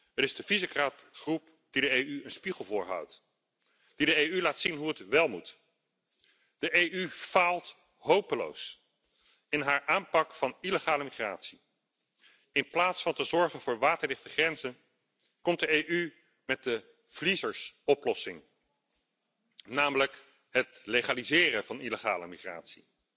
Het is de Visegrad groep die de EU een spiegel voorhoudt, die de EU laat zien hoe het wél moet. De EU faalt hopeloos in haar aanpak van illegale migratie. In plaats van te zorgen voor waterdichte grenzen komt de EU met de verliezersoplossing, namelijk het legaliseren van illegale migratie.